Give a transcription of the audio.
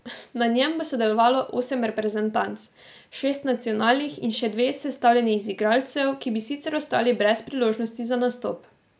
Na njem bo sodelovalo osem reprezentanc, šest nacionalnih in še dve, sestavljeni iz igralcev, ki bi sicer ostali brez priložnosti za nastop.